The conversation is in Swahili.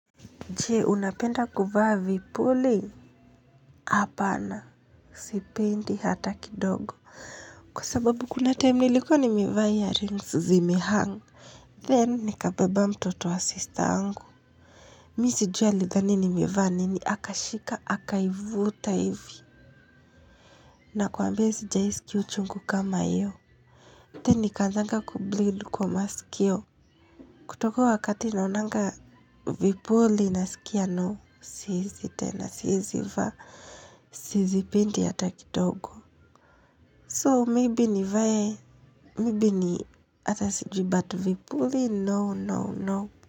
Je, unapenda kuvaa vipuli? Apana sipendi hata kidogo. Kwa sababu kuna time nilikua nimevaa earrings zimehang Then, nikabeba mtoto wa sister yangu. Mimi sijui alidhani nimevaa nini akaishika akaivuta hivi. Nakwambia sijawahi sikia uchungu kama hiyo. Then, nikaanzanga kubleed kwa masikio. Kutoka huo wakati naonanga vipuli nasikia no. Siwezi tena, siwezi vaa. Sizipendi ya hata kidogo So maybe nivae Maybe ni hata sijui but vipuli No no no.